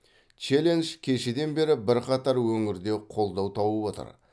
челлендж кешеден бері бірқатар өңірде қолдау тауып отыр